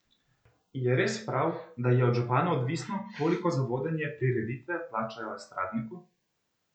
Je res prav, da je od župana odvisno, koliko za vodenje prireditve plačajo estradniku?